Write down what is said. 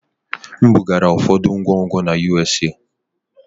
M bugara ụfọdụ ngwongwo na USA.